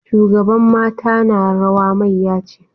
Shugaban mata na rawa mayya ce.